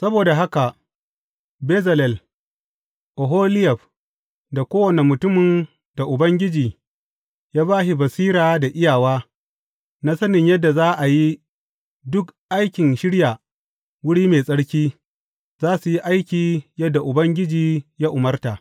Saboda haka Bezalel, Oholiyab da kowane mutumin da Ubangiji ya ba shi basira da iyawa, na sanin yadda za a yi duk aikin shirya wuri mai tsarki, za su yi aiki yadda Ubangiji ya umarta.